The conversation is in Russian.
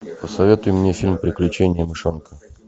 посоветуй мне фильм приключения мышонка